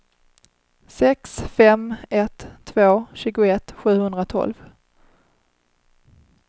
sex fem ett två tjugoett sjuhundratolv